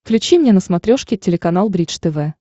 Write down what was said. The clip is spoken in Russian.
включи мне на смотрешке телеканал бридж тв